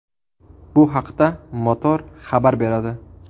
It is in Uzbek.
Bu haqda Motor xabar beradi .